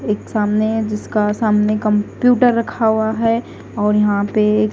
एक सामने हैं जिसका सामने कंप्यूटर रखा हुआ है और यहाँ पे एक--